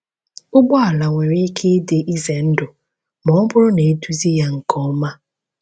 Ụgbọ ala nwere ike ịdị ize ndụ ma ọ bụrụ na eduzi ya nke ọma